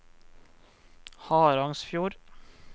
Harangsfjord